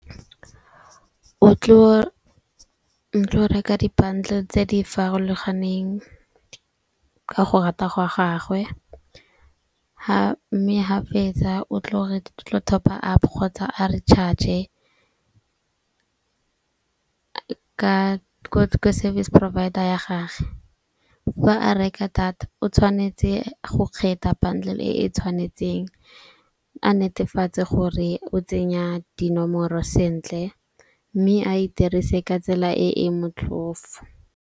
O tlo reka di-bundle tse di farologaneng ka go rata go a gagwe. Ha mme ha fetsa o tlo, re tlo top-a-up kgotsa a recharge ko service provider ya gage. Fa a reka data o tshwanetse go kgetha bundle e tshwanetseng a netefatse gore o tsenya dinomoro sentle. Mme a e dirise ka tsela e e motlhofo.